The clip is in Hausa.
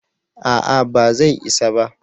a'a ba zai isa ba